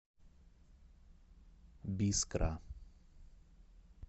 бискра